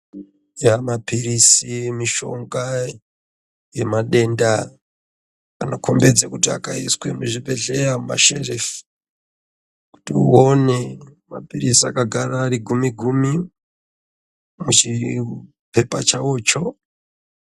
Mapirizi mishonga yemadenda anokombedza kuti akaiswa muzvibhedhleya mumasherefu kuti uone mapirizi akagara gumi gumi muchipepa chawocho.